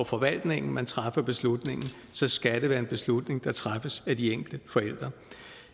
forvaltningen man træffer beslutningen så skal det være en beslutning der træffes af de enkelte forældre